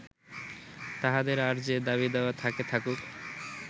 তাঁহাদের আর যে দাবি দাওয়া থাকে থাকুক